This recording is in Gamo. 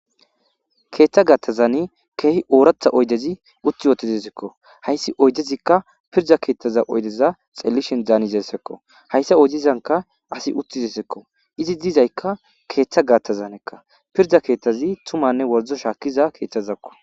Keetha gaathazan keehi ooratha oyidezi utti deesiko hayssi oyidezi pirda keetha oyide hanizaysako ,hayissa oyidezan asi uttizaysako iza bolla uttidi tumanne wordo shaakizaysako.